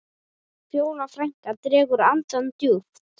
Fjóla frænka dregur andann djúpt.